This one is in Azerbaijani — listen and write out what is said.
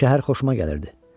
Şəhər xoşuma gəlirdi.